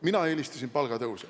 Mina eelistasin palgatõuse.